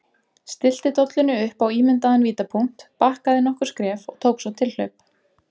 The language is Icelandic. Stillti dollunni upp á ímyndaðan vítapunkt, bakkaði nokkur skref og tók svo tilhlaup.